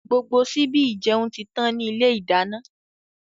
Gbogbo síbi ìjẹun títàn ni ilé ìdáná.